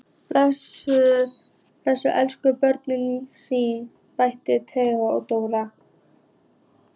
Bakkus elskar börnin sín, bæði Teit og Dóra.